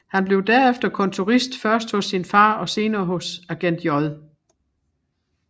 Han blev derefter kontorist først hos sin far og senere hos agent J